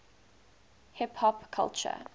hip hop culture